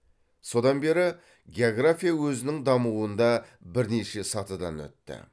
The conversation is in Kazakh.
содан бері география өзінің дамуында бірнеше сатыдан өтті